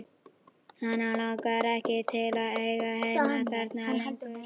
Hana langar ekki til að eiga heima þarna lengur.